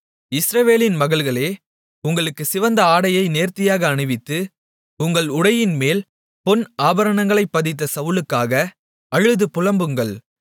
இஸ்ரவேலின் மகள்களே உங்களுக்கு சிவந்த ஆடையை நேர்த்தியாக அணிவித்து உங்கள் உடையின்மேல் பொன் ஆபரணங்களைப் பதித்த சவுலுக்காக அழுது புலம்புங்கள்